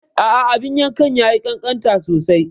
A'a, abin yankan ya yi ƙanƙanta sosai.